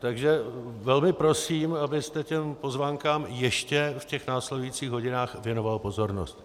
Takže velmi prosím, abyste těm pozvánkám ještě v těch následujících hodinách věnoval pozornost.